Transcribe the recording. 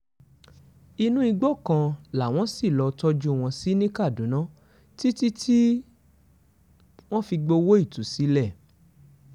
inú igbó kan làwọn ṣì lọọ́ tọ́jú wọn sí ní kaduna títí tí wọ́n fi gbowó ìtúsílẹ̀